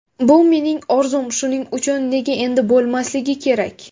Bu mening orzum, shuning uchun nega endi bo‘lmasligi kerak.